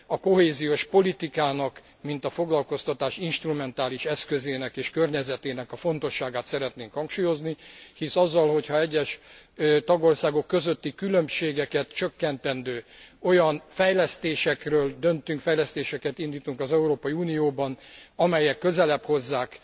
A kohéziós politikának, mint a foglalkoztatás instrumentális eszközének és környezetének a fontosságát szeretnénk hangsúlyozni, hisz azzal, hogy ha egyes tagországok közötti különbségeket csökkentendő olyan fejlesztésekről döntünk, fejlesztéseket indítunk az Európai Unióban, amelyek közelebb hozzák